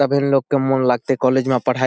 तबे लोग के मोन लागते कॉलेज में पढ़ाए --